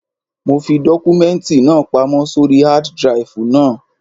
Mo fi àwọn dọ́kúmẹ́ǹtì náà pamọ́ sóri hád draìfù náà.